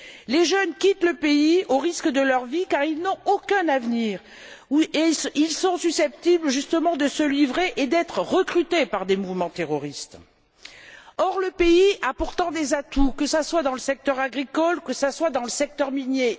Les jeunes quittent le pays, au risque de leur vie, car ils n'ont aucun avenir et ils sont susceptibles justement de se livrer et d'être recrutés par des mouvements terroristes. Or, le pays a pourtant des atouts, que ce soit dans le secteur agricole, que ce soit dans le secteur minier.